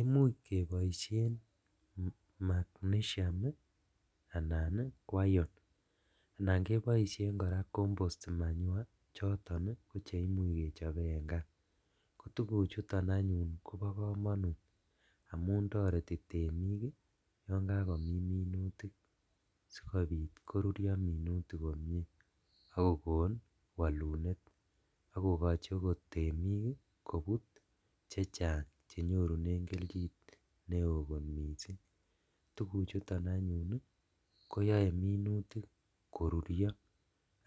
Imuch keboishen magnesium anan ko iron anan keboishen koraa compost manure choton ko cheimuch keyoe en kaa, kotuguchuton kobo komonut amun toreti temik yon kakomin monutik sikonit korurio minutik komie , ak kokon wolunet ako kochi okot temik kobut chechang chenyorunen keljin neo kot missing' tuguchuton anyun koyoe minutik korurio